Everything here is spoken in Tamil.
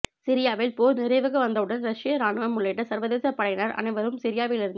சிரியாவில் போர் நிறைவுக்கு வந்தவுடன் ரஷ்ய இராணுவம் உள்ளிட்ட சர்வதேச படையினர் அனைவரும் சிரியாவிலிருந்